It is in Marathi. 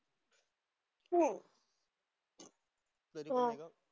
हम्म हां.